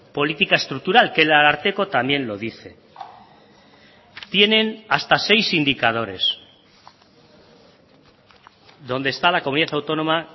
política estructural que el ararteko también lo dice tienen hasta seis indicadores donde está la comunidad autónoma